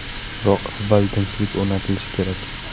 Biroq avval tinchlik o‘rnatilishi kerak.